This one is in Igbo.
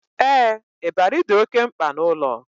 Ee, ịbarị dị oké mkpa n'ụlọ